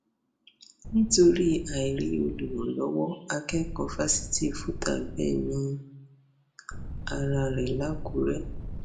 nítorí àìrí olùrànlọwọ akẹkọọ fásitì fútà gbẹmí ara rẹ lákùrẹ